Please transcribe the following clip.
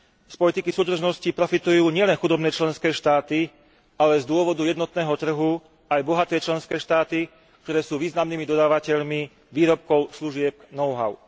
Z politiky súdržnosti profitujú nielen chudobné členské štáty, ale z dôvodu jednotného trhu aj bohaté členské štáty, ktoré sú významnými dodávateľmi výrobkov, služieb, know how.